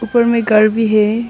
पर में घर भी है।